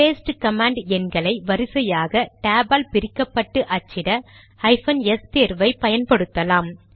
paste command எண்களை வரிசையாக tab ஆல் பிரிக்கப்பட்டு அச்சிட ஹைபன் எஸ் தேர்வை பயன்படுத்தலாம்